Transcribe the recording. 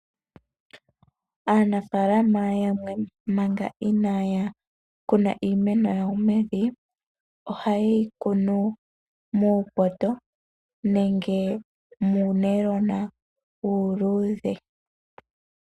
Aanafaalama yamwe manga inaya kuna iimeno yawo mevi ,oha yeyi kunu muupoto nenge muunayilona uuluudhe.